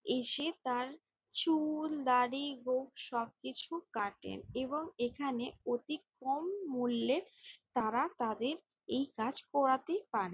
এসে তার চুল দাড়ি গোঁফ সবকিছু কাটেন এবং এখানে অতি কম মূল্যে তারা তাদের এ কাজ করাতে পারে।